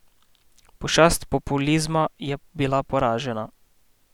Pošast populizma je bila poražena!